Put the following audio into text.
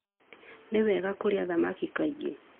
Nĩ wega kũrĩa thamaki kaingĩ.